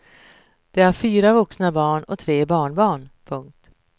De har fyra vuxna barn och tre barnbarn. punkt